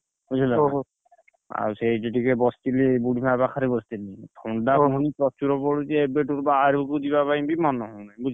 ବୁଝିଲ ନା ଆଉ ସେଇଠି ଟିକେ ବସିଥିଲି ବୁଢୀମା ପାଖରେ ବସିଥିଲି ଥଣ୍ଡା ପ୍ରଚୁର ପଡୁଛି ଏବେଠୁ ତ ବାହାରକୁ ଯିବା ପାଇଁ ବି ମନ ହଉନି ବୁଝିଲ